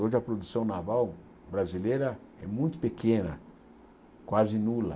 Hoje a produção naval brasileira é muito pequena, quase nula.